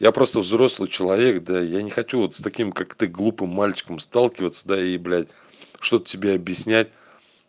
я просто взрослый человек да я не хочу вот с таким как ты глупым мальчиком сталкиваться да и блядь что то тебе объяснять